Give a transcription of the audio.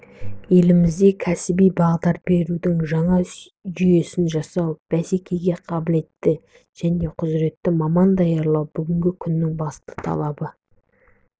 елімізде кәсіби бағдар берудің жаңа жүйесін жасау бәсекеге қабілетті және құзіретті маман даярлау бүгінгі күннің басты талабы